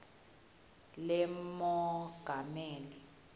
lemongameli